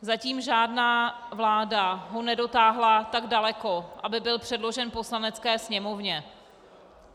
Zatím žádná vláda ho nedotáhla tak daleko, aby byl předložen Poslanecké sněmovně.